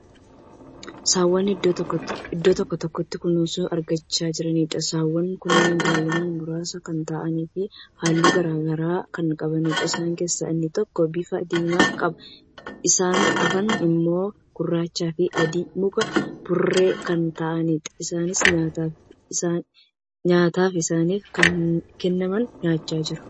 Saawwan iddoo tokkotti kunuunsa argachaa jiraniidha. saawwan Kuni baay'inaan. muraasa Kan ta'aniifi halluu garagaraa Kan qabaniidha. isaan keessaa inni tokko bifa diimaa qaba .isaan hafan immoo gurrachaafi adii makaa(burree) Kan ta'aniidha. isaanis nyaataaf isaaniif kenname nyaachaa jiru.